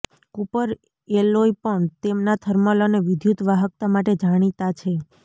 Cooper alloy પણ તેમના thermal અને વિદ્યુત વાહકતા માટે જાણીતા છે